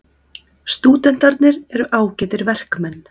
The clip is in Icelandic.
Stúdentarnir eru ágætir verkmenn.